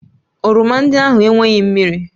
Oroma ndị ahụ enweghị mmiri